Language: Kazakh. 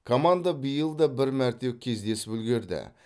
команда биыл да бір мәрте кездесіп үлгерді